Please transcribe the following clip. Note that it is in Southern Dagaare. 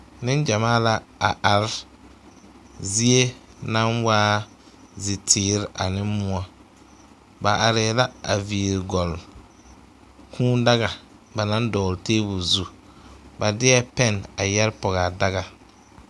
Neŋgyamaa la a are zie naŋ waa ziteere ane moɔ ba arɛɛ la gyeere gɔle kūūdaga ba naŋ dɔgle tebol zu ba deɛ pɛnne a yɛre pɔge a daga.